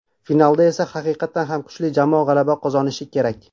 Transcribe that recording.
Finalda esa haqiqatan ham kuchli jamoa g‘alaba qozonishi kerak.